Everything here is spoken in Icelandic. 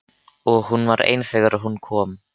Og hún var ein þegar hún kom.